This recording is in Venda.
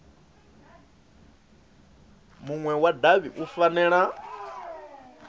munwe wa davhi u fanela